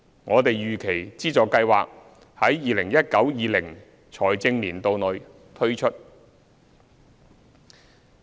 我們預期資助計劃於 2019-2020 財政年度內推出。